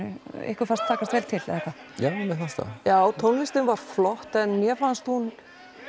ykkur fannst takast vel til eða hvað já já tónlistin var flott en mér fannst hún